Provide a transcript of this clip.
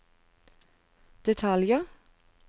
detaljer